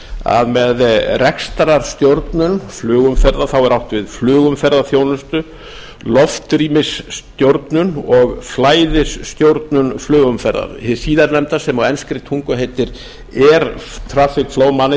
að með rekstrarstjórnun flugumferðar er átt við flugumferðarþjónustu loftrýmisstjórnun og flæðisstjórnun flugumferðar hið síðarnefnda sem á enskri tungu heitir air traffic flow